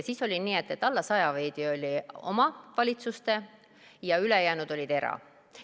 Siis oli nii, et veidi alla 100 oli omavalitsuste hallata ja ülejäänud olid erahooldekodud.